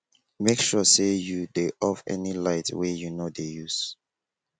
mek sure say you dey off any light wey you no dey use